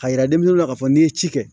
A yira denmisɛnninw la k'a fɔ n'i ye ci kɛ